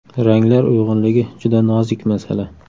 Ranglar uyg‘unligi juda nozik masala.